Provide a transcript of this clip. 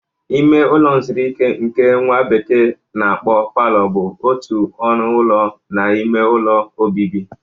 Ime ụlọ nzụrụ ike nke nwa bekee na-akpọ palọ bụ otu ọnụ ụlọ n'ime ụlọ obibi.